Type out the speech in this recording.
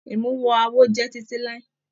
Imuwọ̀ awo jẹ titi lai.